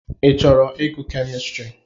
Ị chọrọ ịgụ kemistri?